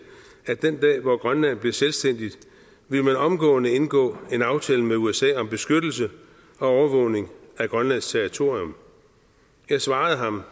at den dag hvor grønland blev selvstændigt ville man omgående indgå en aftale med usa om beskyttelse og overvågning af grønlands territorium jeg svarede ham